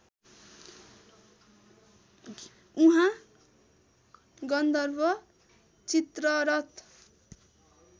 उहाँ गन्धर्व चित्ररथ